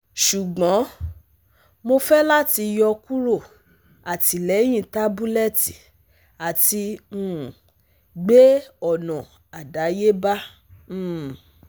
Ṣugbọn, Mo fẹ lati yọkuro atilẹyin tabulẹti ati um gbe ọna adayeba um